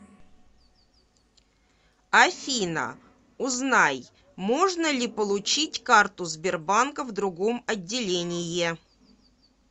афина узнай можно ли получить карту сбербанка в другом отделение